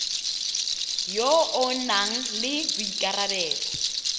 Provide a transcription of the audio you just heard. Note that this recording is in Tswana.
yo o nang le boikarabelo